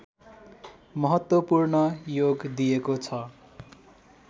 महत्त्वपूर्ण योग दिएको छ